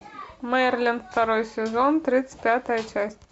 мерлин второй сезон тридцать пятая часть